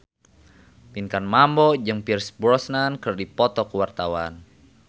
Pinkan Mambo jeung Pierce Brosnan keur dipoto ku wartawan